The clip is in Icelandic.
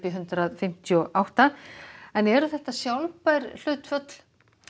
hundrað fimmtíu og átta eru þetta sjálfbær hlutföll